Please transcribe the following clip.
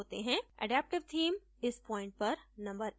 adaptive theme इस point पर number एक है